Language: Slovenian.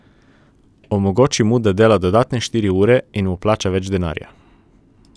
Omogoči mu, da dela dodatne štiri ure in mu plača več denarja.